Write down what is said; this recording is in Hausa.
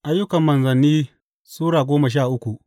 Ayyukan Manzanni Sura goma sha uku